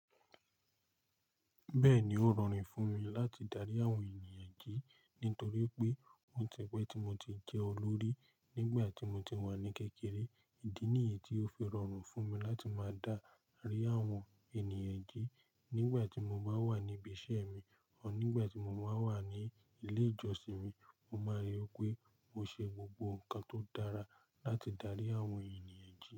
Bẹ́ẹ̀ni, ó rọrùn fún mi láti darí àwọn ènìyàn jí nítorí pé ó ti pẹ́ tí mo ti jẹ olórí nígbà tí mo ti wà ní kékeré. Ìdí nìyí tí ó fi rọrùn fún mi láti máa dá ri àwọn ènìyàn jí nígbà tí mo bá wà ní ibi iṣẹ́ mi ọ nígbà tí mo máa ń wà ní ilé ìjọsìn mi. Mo máa rí i pé mo ṣe gbogbo nǹkan tó dára láti darí àwọn ènìyàn jí.